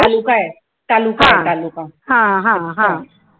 तालुका आहे तालुका आहे तालुका